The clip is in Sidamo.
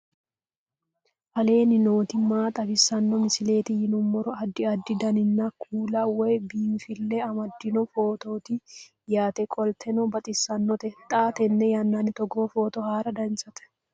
aleenni nooti maa xawisanno misileeti yinummoro addi addi dananna kuula woy biinfille amaddino footooti yaate qoltenno baxissannote xa tenne yannanni togoo footo haara danchate